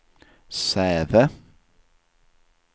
Säve